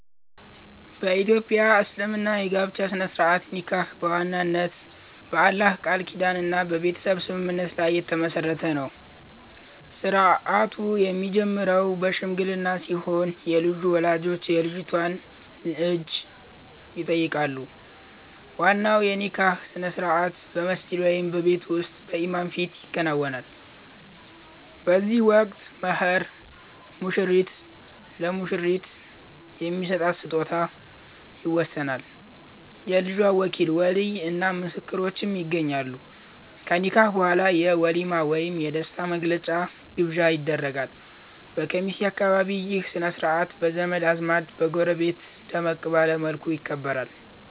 በ ኢትዮጵያ እስልምና የጋብቻ ሥነ-ሥርዓት (ኒካህ) በዋናነት በአላህ ቃል ኪዳንና በቤተሰብ ስምምነት ላይ የተመሠረተ ነው። ሥርዓቱ የሚጀምረው በሽምግልና ሲሆን፣ የልጁ ወላጆች የልጅቷን እጅ ይጠይቃሉ። ዋናው የኒካህ ሥነ-ሥርዓት በመስጂድ ወይም በቤት ውስጥ በኢማም ፊት ይከናወናል። በዚህ ወቅት "መህር" (ሙሽራው ለሙሽሪት የሚሰጣት ስጦታ) ይወሰናል፤ የልጅቷ ወኪል (ወሊይ) እና ምስክሮችም ይገኛሉ። ከኒካህ በኋላ የ"ወሊማ" ወይም የደስታ መግለጫ ግብዣ ይደረጋል። በኬሚሴ አካባቢ ይህ ሥነ-ሥርዓት በዘመድ አዝማድና በጎረቤት ደመቅ ባለ መልኩ ይከበራል።